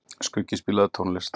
Skuggi, spilaðu tónlist.